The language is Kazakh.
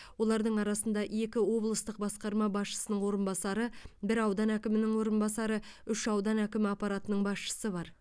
олардың арасында екі облыстық басқарма басшысының орынбасары бір аудан әкімінің орынбасары үш аудан әкімі аппаратының басшысы бар